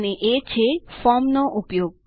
અને એ છે ફોર્મ નો ઉપયોગ